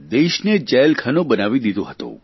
દેશને જેલખાનું બનાવી દીધો હતો